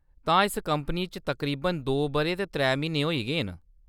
तां, इस कंपनी च तकरीबन दो बʼरे ते त्रै म्हीने होई गे न ?